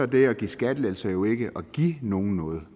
det at give skattelettelser jo ikke at give nogle noget